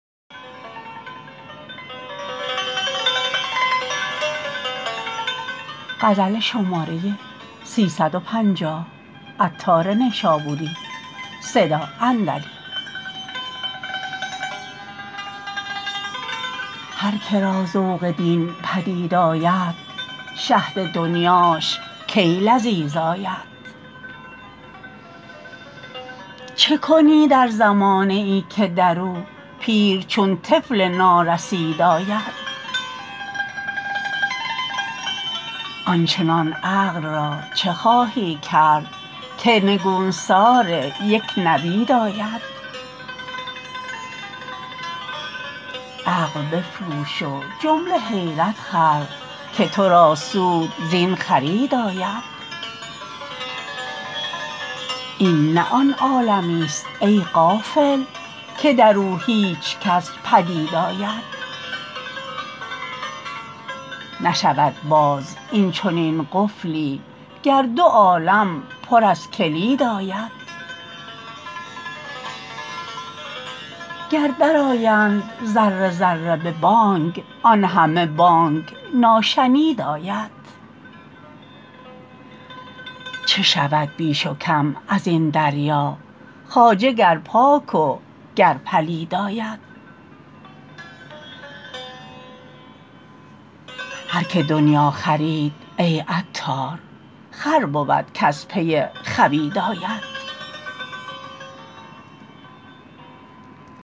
هر که را ذوق دین پدید آید شهد دنیاش کی لذیذ آید چه کنی در زمانه ای که درو پیر چون طفل نا رسید آید آنچنان عقل را چه خواهی کرد که نگونسار یک نبید آید عقل بفروش و جمله حیرت خر که تو را سود زین خرید آید این نه آن عالمی است ای غافل که درو هیچکس پدید آید نشود باز این چنین قفلی گر دو عالم پر از کلید آید گر در آیند ذره ذره به بانگ آن همه بانگ ناشنید آید چه شود بیش و کم ازین دریا خواجه گر پاک و گر پلید آید هر که دنیا خرید ای عطار خر بود کز پی خوید آید